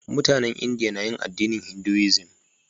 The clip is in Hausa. Mutanen India na yin addinin Hinduism.